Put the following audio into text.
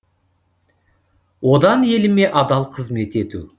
одан еліме адал қызмет ету